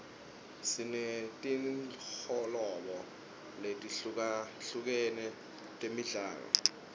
sinetinholobo letihlukahlukere temidlalo